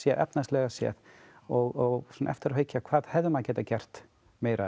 efnahagslega séð og svona eftir á að hyggja hvað hefði maður getað gert meira